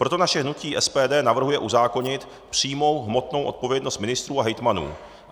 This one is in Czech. Proto naše hnutí SPD navrhuje uzákonit přímou hmotnou odpovědnost ministrů a hejtmanů.